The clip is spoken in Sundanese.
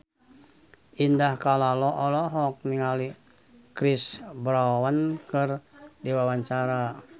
Indah Kalalo olohok ningali Chris Brown keur diwawancara